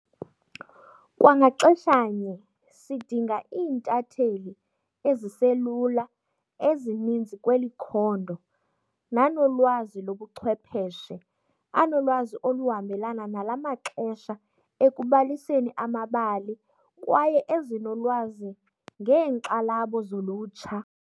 Kwa ngaxeshanye sidinga iintatheli ezi selula ezininzi kweli khondo nanolwazi lobuchwepheshe, anolwazi oluhambelana nala maxesha ekubaliseni amabali kwaye ezinolwazi ngeenkxalabo zolutsha.